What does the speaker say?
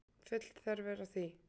Full þörf er á því.